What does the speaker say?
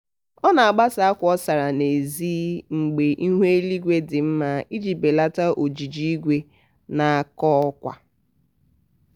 ọ na-agbasa akwa ọ sara asa n'ezi mgbe ihu eluigwe dị mma iji belata ojiji igwe na-akọ akwa